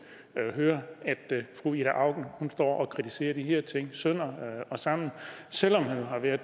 høre at fru ida auken står og kritiserer de her ting sønder og sammen selv om hun har været